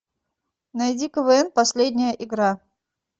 найди квн последняя игра